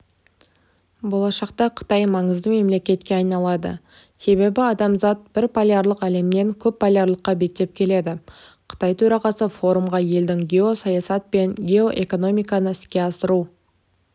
болашақта қытай маңызды мемлекетке айналады себебі адамзат бірполярлық әлемнен көпполярлылыққа беттеп келеді қытай төрағасы форумға елдің геосаясат пен геоэкономиканы іске асыру